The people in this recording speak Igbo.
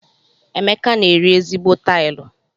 Emeka n'eri ezigbo tilu.